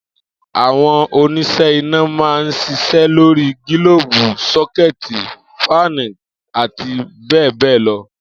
Àwo̩n onís̩é̩ iná máa ń s̩is̩é̩ lórí gílóòbù, só̩ké̩è̩tì, fáànì, àti bé̩è̩ bé̩è̩ lo